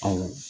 Awɔ